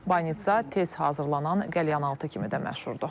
Banitsa tez hazırlanan qəlyanaltı kimi də məşhurdur.